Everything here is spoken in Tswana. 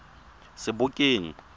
sebokeng